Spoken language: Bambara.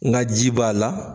Nka ji b'a la.